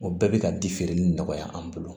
O bɛɛ bɛ ka di feereli nɔgɔya an bolo